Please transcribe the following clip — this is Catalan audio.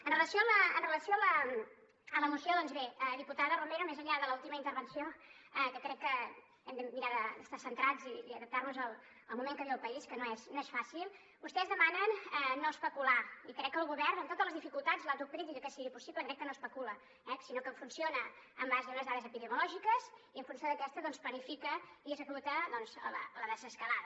en relació amb la moció doncs bé diputada romero més enllà de l’última intervenció que crec que hem de mirar d’estar centrats i adaptar nos al moment que viu el país que no és fàcil vostès demanen no especular i crec que el govern amb totes les dificultats l’autocrítica que sigui possible crec que no especula eh sinó que funciona en base a unes dades epidemiològiques i en funció d’aquestes doncs planifica i executa la desescalada